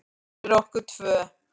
Fyrir okkur tvö.